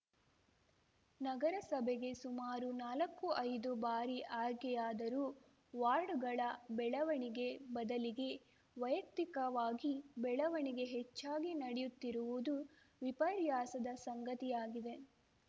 ನಗರಸಭೆಗೆ ಸುಮಾರು ನಾಲಕ್ಕುಐದು ಬಾರಿ ಆಯ್ಕೆಯಾದರೂ ವಾರ್ಡ್‌ಗಳ ಬೆಳವಣಿಗೆ ಬದಲಿಗೆ ವೈಯಕ್ತಿಕವಾಗಿ ಬೆಳವಣಿಗೆ ಹೆಚ್ಚಾಗಿ ನಡೆಯುತ್ತಿರುವುದು ವಿಪರ್ಯಾಸದ ಸಂಗತಿಯಾಗಿದೆ